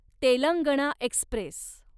Telangana Express